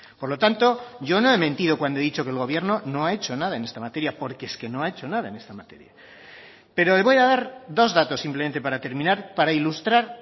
por lo tanto yo no he mentido cuando he dicho que el gobierno no ha hecho nada en esta materia porque es que no ha hecho nada en esta materia pero le voy a dar dos datos simplemente para terminar para ilustrar